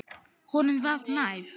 Honum var nær.